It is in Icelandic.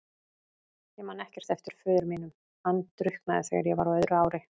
Ég man ekkert eftir föður mínum, hann drukknaði þegar ég var á öðru ári.